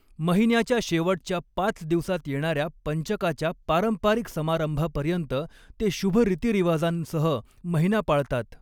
महिन्याच्या शेवटच्या पाच दिवसात येणाऱ्या पंचकाच्या पारंपरिक समारंभापर्यंत ते शुभ रीतिरिवाजांसह महिना पाळतात.